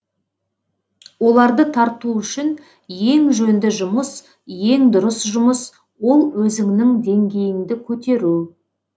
оларды тарту үшін ең жөнді жұмыс ең дұрыс жұмыс ол өзіңнің деңгейіңді көтеру